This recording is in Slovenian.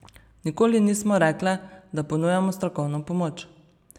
Nikoli nismo rekle, da ponujamo strokovno pomoč.